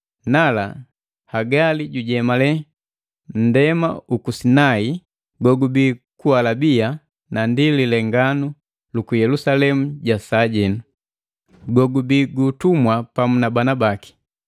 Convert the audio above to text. Nala Hagali jujemale nndema uku Sinai gogubii ku Alabia, na ndi lilenganu luku Yelusalemu ja sajenu, gogubii gu ntumwa pamu na bana baki.